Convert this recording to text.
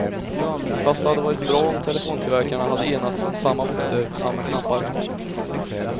Fast det hade varit bra om telefontillverkarna hade enats om samma bokstäver på samma knappar.